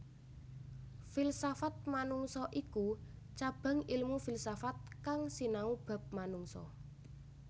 Filsafat manungsa iku cabang ilmu filsafat kang sinau bab manungsa